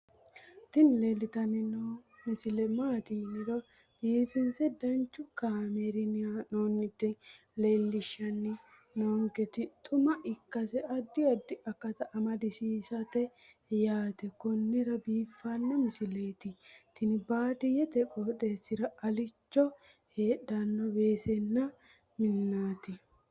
tini leeltanni noo misile maaati yiniro biifinse danchu kaamerinni haa'noonnita leellishshanni nonketi xuma ikkase addi addi akata amadaseeti yaate konnira biiffanno misileeti tini baadiyyete qooxeessira alicho heedhanno weessanna minaati.